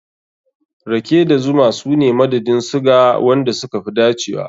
Rake da zuma su ne madadin suga wanda suka fi dacewa.